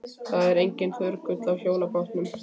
Það var enginn hörgull á hjólabátum.